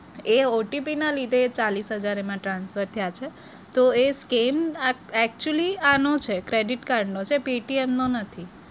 એ OTP ના લીધે એ ચાલીસ હજાર એમાં transfer થયા છે તો એ scam આ actually આનો છે credit card નો છે paytm નો નથી.